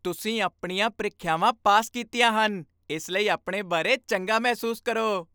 ਤੁਸੀਂ ਆਪਣੀਆਂ ਪ੍ਰੀਖਿਆਵਾਂ ਪਾਸ ਕੀਤੀਆਂ ਹਨ, ਇਸ ਲਈ ਆਪਣੇ ਬਾਰੇ ਚੰਗਾ ਮਹਿਸੂਸ ਕਰੋ।